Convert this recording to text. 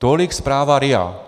- Tolik zpráva RIA.